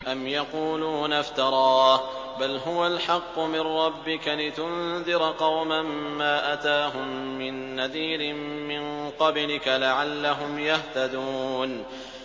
أَمْ يَقُولُونَ افْتَرَاهُ ۚ بَلْ هُوَ الْحَقُّ مِن رَّبِّكَ لِتُنذِرَ قَوْمًا مَّا أَتَاهُم مِّن نَّذِيرٍ مِّن قَبْلِكَ لَعَلَّهُمْ يَهْتَدُونَ